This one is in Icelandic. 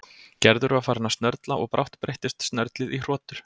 Gerður var farin að snörla og brátt breyttist snörlið í hrotur.